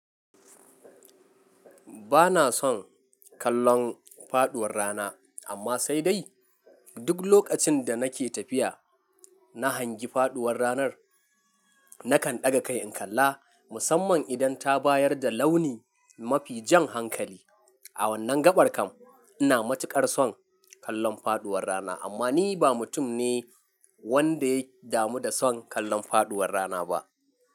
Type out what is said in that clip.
Bana son kallon faduwar rana, amma sai dai duk lokacin da nake tafiya na hangi faduwar ranar nakan ɗaga kai in kalla musamman idan ta bayar da launi mafi jan hankali. A wannan gaɓar kan ina matuƙar son kallon faduwar rana, amma ni ba mutum ne wanda ya damu da son kallon faduwar rana ba.